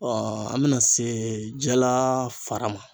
an bɛna se jala fara ma.